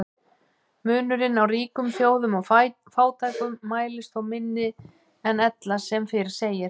Munurinn á ríkum þjóðum og fátækum mælist þó minni en ella sem fyrr segir.